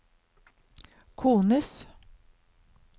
kones